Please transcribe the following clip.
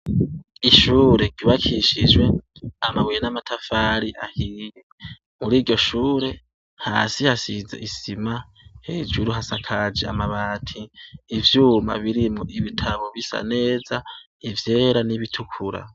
Ishure ryubakishijwe amabuye namatafari ahiye muri iryoshure hasi hasize isima hejuru hasakaje amabati ivyuma birimwo ibitabo bisa neza ivyera nibitukira